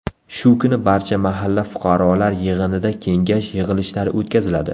Shu kuni barcha mahalla fuqarolar yig‘inida kengash yig‘ilishlari o‘tkaziladi.